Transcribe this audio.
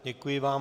Děkuji vám.